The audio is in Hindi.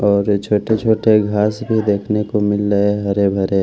बहोत ही अच्छा देखने को मिल रहे हरे भरे--